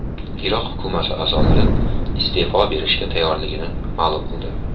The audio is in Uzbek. Iroq hukumati a’zolari iste’fo berishga tayyorligini ma’lum qildi.